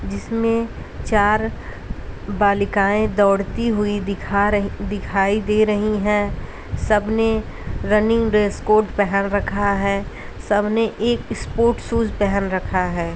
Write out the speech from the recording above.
जिसमे चार बालिकाए दौड़ती हुई दिखा रहीं दिखाई दे रही है सब ने रनिंग ड्रैस कोड पहन रखा है सब ने एक स्पोर्ट्स शूज़ पहन रखा है।